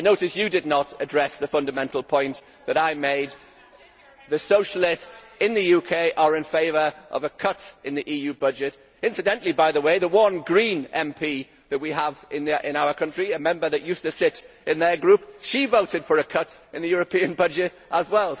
I noticed you did not address the fundamental point that I made the socialists in the UK are in favour of a cut in the EU budget. Incidentally, the one Green MP that we have in our country, a Member who used to sit in their Group, voted for a cut in the European budget as well.